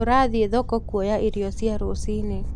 Tũrathiĩ thoko kuoya irio cia rũcinĩ.